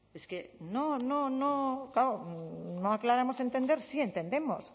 es que no no no aclaramos entender sí entendemos